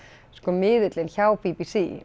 miðillinn hjá b b c